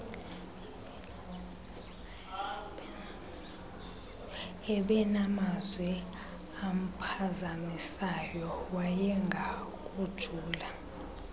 ubenamazwi amphazamisayo wayengakujula